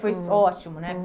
Foi ótimo, né?